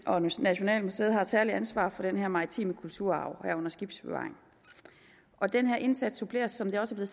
og nationalmuseet har et særligt ansvar for den her maritime kulturarv herunder skibsbevaring den her indsats suppleres som det også er